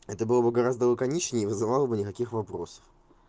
это было бы гораздо лаконичнее и вызывало бы никаких вопросов